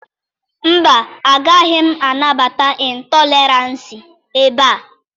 Mba, agaghị anabata ịntọleransị ebe a.